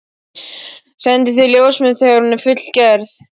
Sendi þér ljósmynd þegar hún er fullgerð.